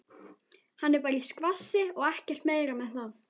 Hann er bara í skvassi og ekkert meira með það.